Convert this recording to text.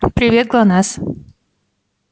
привет глонасс